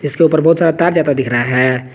इसके ऊपर बहुत सारा तार जाता दिख रहा है।